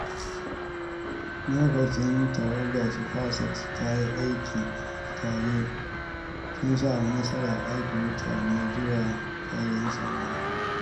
Lokacin da tawagar SpaceX ta yi aiki tare, sun samu nasarar aika mutane zuwa sararin samaniya.